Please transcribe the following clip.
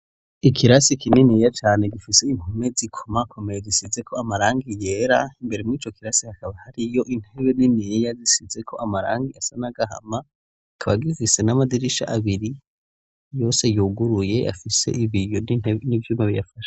Ikirasi kininiya cane gifis' impome zikomakomeye gisizeko amarangi yera, imbere mw'ico kirasi hakaba hariyo intebe niniya zisizeko amarangi asa nagahama, ikaba gifise n'amadirisha abiri yose yuguruye afise ibiyo nivy'uma biyafashe.